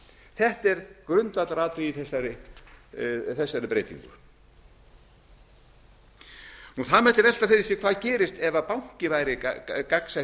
þetta er grundvallaratriði í þessari breytingu það mætti velta fyrir sér hvað gerist ef banki væri gagnsætt